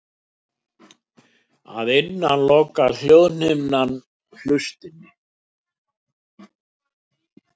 Að innan lokar hljóðhimnan hlustinni.